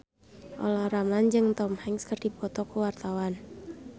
Olla Ramlan jeung Tom Hanks keur dipoto ku wartawan